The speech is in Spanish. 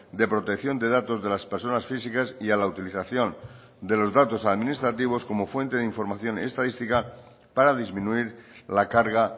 de protección de datos de las personas físicas y a la utilización de los datos administrativos como fuente de información estadística para disminuir la carga